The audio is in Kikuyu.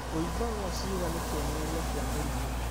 Kũimba gwa ciĩga nĩ kĩonereria kĩa mũrimũ